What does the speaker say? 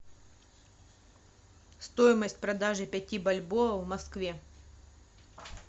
стоимость продажи пяти бальбоа в москве